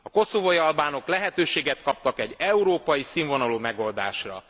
A koszovói albánok lehetőséget kaptak egy európai színvonalú megoldásra.